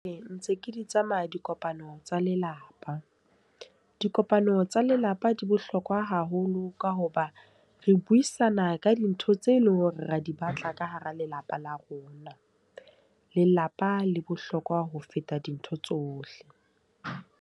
Ee, ntse ke di tsamaya dikopano tsa lelapa. Dikopano tsa lelapa di bohlokwa haholo ka hoba re buisana ka dintho tse leng hore ra di batla ka hara lelapa la rona. Lelapa le bohlokwa ho feta dintho tsohle.